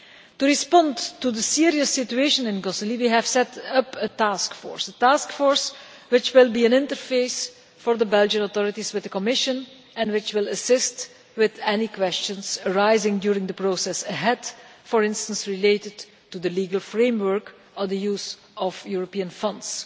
To respond to the serious situation in Gosselies, we have set up a taskforce, a taskforce which will be an interface for the Belgian authorities with the Commission, and which will assist with any questions arising during the process ahead, for instance related to the legal framework or the use of European funds.